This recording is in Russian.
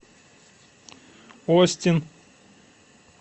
остин